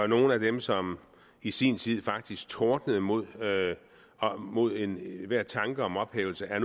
nogle af dem som i sin tid faktisk tordnede mod mod enhver tanke om ophævelse er